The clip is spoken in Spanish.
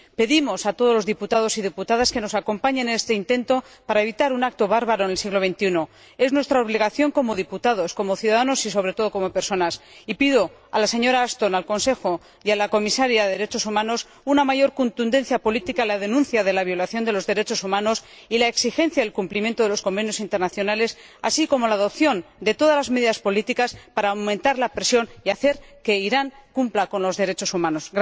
Pedimos a todos los diputados y diputadas que nos acompañen en este intento para evitar un acto bárbaro en el siglo XXI es nuestra obligación como diputados, como ciudadanos y, sobre todo, como personas y pido a la señora Ashton, al Consejo y a la Comisaria de Derechos Humanos una mayor contundencia política en la denuncia de la violación de los derechos humanos y en la exigencia del cumplimiento de los convenios y convenciones internacionales, así como la adopción de todas las medidas políticas para aumentar la presión y hacer que Irán cumpla con los derechos humanos.